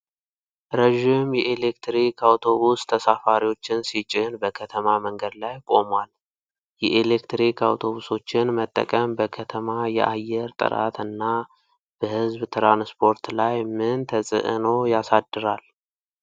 ረዥም የኤሌክትሪክ አውቶቡስ ተሳፋሪዎችን ሲጭን በከተማ መንገድ ላይ ቆሟል። የኤሌክትሪክ አውቶቡሶችን መጠቀም በከተማ የአየር ጥራት እና በህዝብ ትራንስፖርት ላይ ምን ተጽዕኖ ያሳድራል?